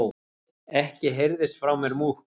Ekki heyrðist frá mér múkk.